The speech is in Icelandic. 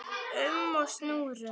um og snúrum.